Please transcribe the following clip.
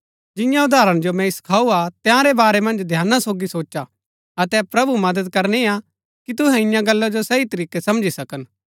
जिन्या उदाहरण जो मैंई सखाऊ हा तंयारै बारै मन्ज ध्याना सोगी सोचा अतै प्रभु मदद करनी हा कि तुहै इन्या गल्ला जो सही तरीकै समझी सकन